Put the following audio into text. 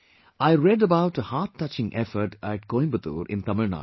I read about a hearttouching effort at Coimbatore in Tamilnadu